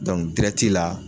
dirɛti la